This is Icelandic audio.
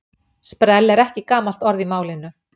sprell er ekki gamalt orð í málinu